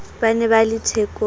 ba ne ba le thekong